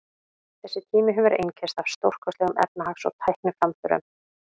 Þessi tími hefur einkennst af stórkostlegum efnahags- og tækniframförum.